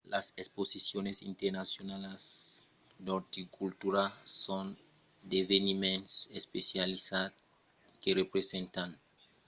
las exposicions internacionalas d’orticultura son d’eveniments especializats que presentan d'exposicions floralas de jardins botanics e tot çò qu'a a veire amb de plantas